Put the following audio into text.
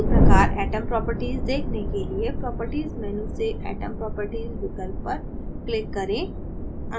उसी प्रकार atom properties देखने के लिए properties menu से atom properties विकल्प पर click करें